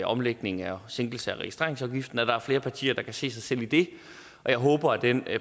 omlægning og sænkelse af registreringsafgiften at der er flere partier der kan se sig selv i det jeg håber at den